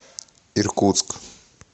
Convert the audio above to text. иркутск